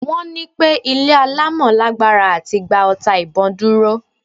Wọ́n ní pẹ́ ilé alámọ̀ lágbára láti gba ọta ìbon dúró.